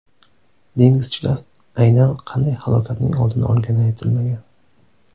Dengizchilar aynan qanday halokatning oldini olgani aytilmagan.